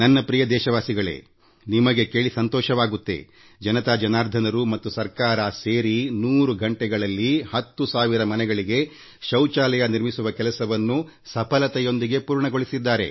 ನನ್ನ ಪ್ರಿಯ ದೇಶವಾಸಿಗಳೇ ನಿಮಗೆ ಇದನ್ನು ಕೇಳಿ ಸಂತೋಷವೆನಿಸಬಹುದು ಜನರು ಮತ್ತು ಜಿಲ್ಲಾಡಳಿತ ಸೇರಿ 100 ಗಂಟೆಗಳಲ್ಲಿ 10 ಸಾವಿರ ಮನೆಗಳಲ್ಲಿ ಶೌಚಾಲಯ ನಿರ್ಮಿಸುವ ಕೆಲಸವನ್ನು ಯಶಸ್ವಿಯಾಗಿ ಪೂರ್ಣಗೊಳಿಸಿದ್ದಾರೆ